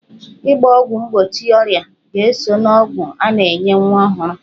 Ịgba ọgwụ mgbochi ọrịa ga-eso n'ọgwụ a na-enye nwa ọhụrụ